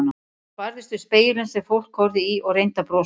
Hún barðist við spegilinn sem fólk horfði í og reyndi að brosa.